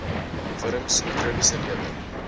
wurms mikrobiese lewe